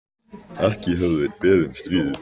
Ekki höfðu þeir beðið um stríðið.